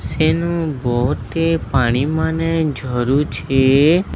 ସେନୁ ବହୁତ ଟି ପାଣି ମାନେ ଝରୁଛି।